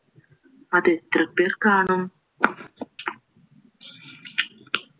അത് എത്രപേർ കാണും